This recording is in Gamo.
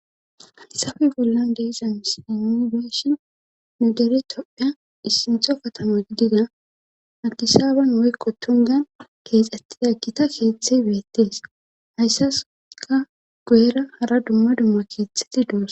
Haysafi bollan deezams indeshin nudere topphea issintho katamo gidida agisaaban woykko tungan keexxetti aggita keeththe beettees hayssaska guyera hara dumma dumma keethetti duos.